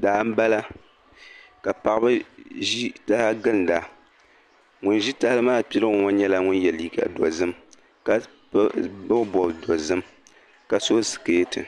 Daa n bala ka paɣaba ʒi taha n ginda, ŋun ʒi tahili maa piligu ŋɔ nyɛla ŋun ye liiga dozim, ka bɔbi bɔb dozim, ka so siketi,